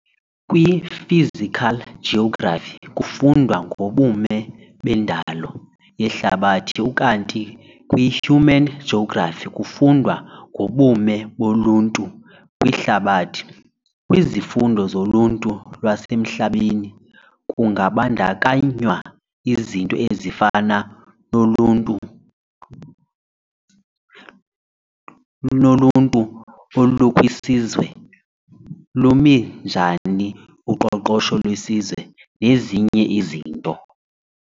KwiPhysical geography kufundwa ngobume bendalo yehlabathi ukanti kwihuman geography kufundwa ngobume boluntu kwihlabathi. Kwizifundo zoluntu lwasemhlabeni kungabandakanywa izinto ezifana noluntuolukwisizwe, Lumi njani uqoqosho lwesizwe, nezinye izinto.